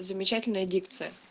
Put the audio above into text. замечательная дикция